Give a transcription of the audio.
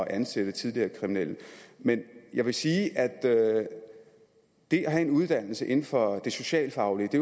ansætte tidligere kriminelle men jeg vil sige at at det at have en uddannelse inden for det socialfaglige